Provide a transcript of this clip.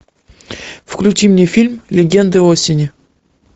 включи мне фильм легенды осени